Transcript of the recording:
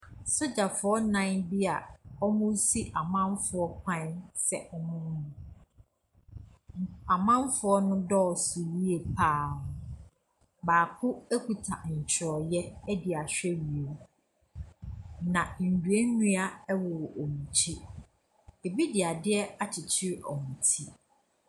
Sogyafoɔ nnan bi a wɔresi amanfoɔ kwan sɛ wɔmma. Nk . Amanfoɔ no dɔɔso yie pa ara. Baako kuta ntwerɛeɛde ahwɛ wiem. Na nnua nnua wɔ wɔn akyi. Ɛbi de adeɛ akyekyere wɔn ti.